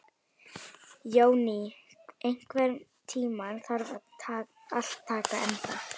Jóný, einhvern tímann þarf allt að taka enda.